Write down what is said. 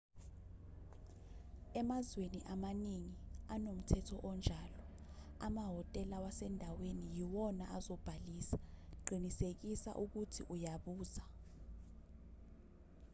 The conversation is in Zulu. emazweni amaningi anomthetho onjalo amahhotela wasendaweni yiwona azobhalisa qinisekisa ukuthi uyabuza